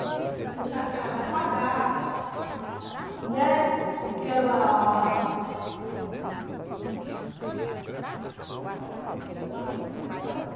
Apesar que ela vai pagar, né, que ela (sons externos) Corta um pouquinho, acho que atrapalhou.